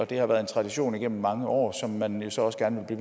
det har været en tradition igennem mange år som man jo så også gerne vil